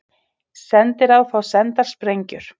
Sendiráð fá sendar sprengjur